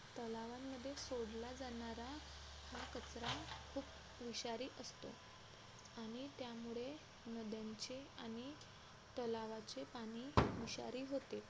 तलावांमध्ये सोडला जाणारा हा कचरा खूप विषारी असतो आणि त्यामुळे नद्यांचे आणि तलावांचे पाणी विषारी होते